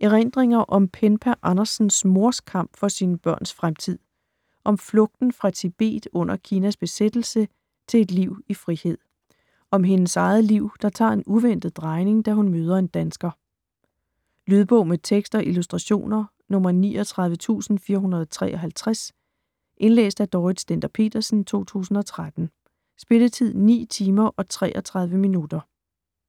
Erindringer om Penpa Andersens mors kamp for sine børns fremtid - om flugten fra Tibet under Kinas besættelse til et liv i frihed. Om sit eget liv, der tager en uventet drejning, da hun møder en dansker. Lydbog med tekst og illustrationer 39453 Indlæst af Dorrit Stender-Petersen, 2013. Spilletid: 9 timer, 33 minutter.